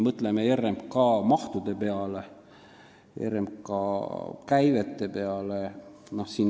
Mõtleme RMK mahtude ja käivete peale.